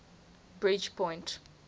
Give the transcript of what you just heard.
bridgepoint